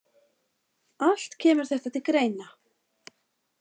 Allt kemur þetta til greina.